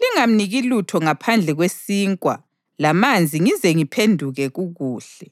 lingamniki lutho ngaphandle kwesinkwa lamanzi ngize ngiphenduke kukuhle.’ ”